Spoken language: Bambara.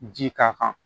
Ji k'a kan